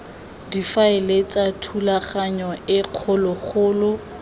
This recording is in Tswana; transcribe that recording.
difaele tsa thulaganyo e kgologolo